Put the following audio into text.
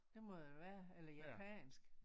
Det må det være eller japansk